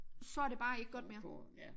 Så det bare ikke godt mere